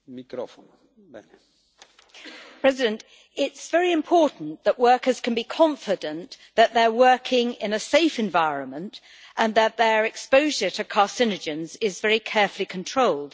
Mr President, it is very important that workers can be confident that they are working in a safe environment and that their exposure to carcinogens is very carefully controlled.